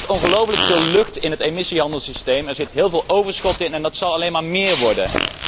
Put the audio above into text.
Er zit ongelooflijk veel lucht in het emissiehandelssysteem, er zit heel veel overschot in en dat zal alleen maar méér worden.